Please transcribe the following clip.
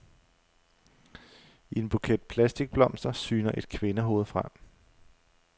I en buket plastikblomster syner et kvindehoved frem.